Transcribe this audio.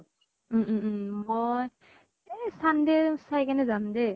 উম উম উম মই এই sunday চাই কেনে যাম দে।